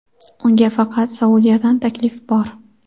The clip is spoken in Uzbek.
Unga faqat Saudiyadan taklif bor.